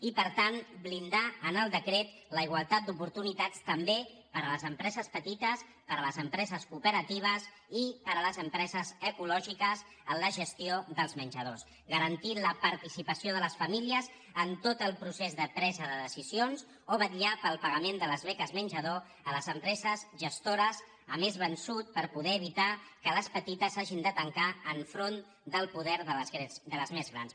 i per tant blindar en el decret la igualtat d’oportuni·tats també per a les empreses petites per a les empre·ses cooperatives i per a les empreses ecològiques en la gestió dels menjadors garantint la participació de les famílies en tot el procés de presa de decisions o vet·llar pel pagament de les beques menjador a les empre·ses gestores a mes vençut per poder evitar que les peti·tes hagin de tancar enfront del poder de les més grans